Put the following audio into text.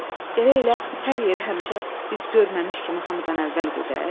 Gərək elə hər yerə həmişə biz görməmiş kimi hamıdan əvvəl gedək?